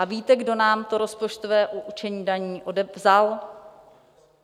A víte, kdo nám to rozpočtové určení daní vzal?